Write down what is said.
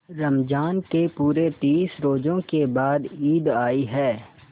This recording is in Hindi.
रमज़ान के पूरे तीस रोजों के बाद ईद आई है